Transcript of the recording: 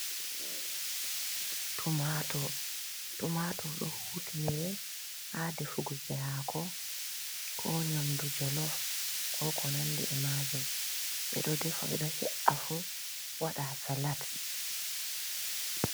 Tumatur, tumatur ɗo hutinire ha ɗefuguki hako, ko nyamɗu jolof, ko ko nanɗi e majum. Beɗo ɗefa be ɗo he’a fu waɗa ha salat.